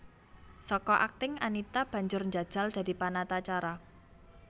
Saka akting Anita banjur njajal dadi panatacara